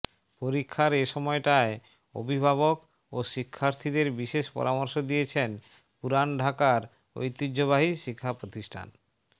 পরীক্ষার এ সময়টায় অভিভাবক ও শিক্ষার্থীদের বিশেষ পরামর্শ দিয়েছেন পুরান ঢাকার ঐতিহ্যবাহী শিক্ষা প্রতিষ্ঠান